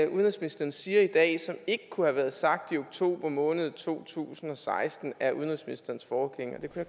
udenrigsministeren siger i dag som ikke kunne have været sagt i oktober måned to tusind og seksten af udenrigsministerens forgænger det kunne